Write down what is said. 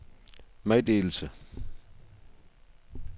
meddelelse